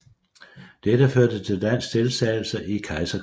Dette førte til dansk deltagelse i Kejserkrigen